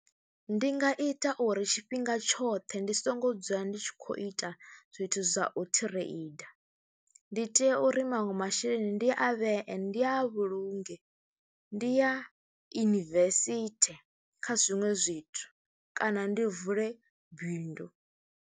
Ndi nga ita uri tshifhinga tshoṱhe ndi songo dzula ndi tshi khou ita zwithu zwa u thireinda, ndi tea uri maṅwe masheleni ndi a vhee, ndi a vhulunge, ndi ya invest kha zwiṅwe zwithu kana ndi vule bindu.